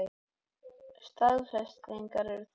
Staðfestingar er þörf.